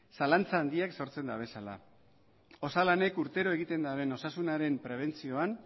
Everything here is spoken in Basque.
zalantza handiak sortzen dabezala osalanek urtero egiten daben osasunaren prebentzioan